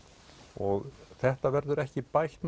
og þetta verður ekki bætt